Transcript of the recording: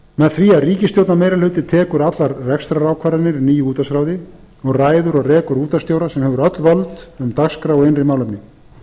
með því að ríkisstjórnarmeirihluti tekur allar rekstrarákvarðanir í nýju útvarpsráði og ræður og rekur útvarpsstjóra sem hefur öll völd um dagskrá og innri málefni menntamálaráðherrann